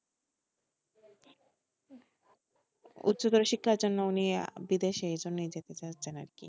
উচ্চতর শিক্ষার জন্য উনি বিদেশে এই জন্য যেতে চাইছেন আরকি,